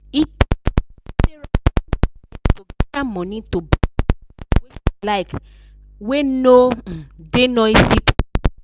e take sarah plenty years to gather money to buy house wey she like wey no um da noisy place